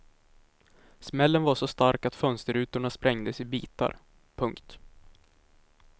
Smällen var så stark att fönsterrutorna sprängdes i bitar. punkt